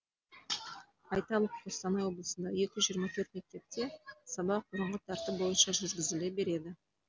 айталық қостанай облысында екі жүз жиырма төрт мектепте сабақ бұрынғы тәртіп бойынша жүргізіле береді